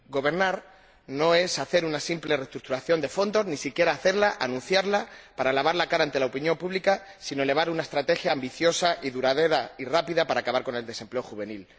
Gobernar no es hacer una simple reestructuración de fondos, ni siquiera anunciarla, para lavar la cara ante la opinión pública, sino elevar una estrategia ambiciosa y duradera y rápida para acabar con el desempleo juvenil.